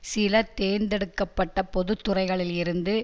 சில தேர்ந்தெடுக்க பட்ட பொது துறைகளில் இருந்து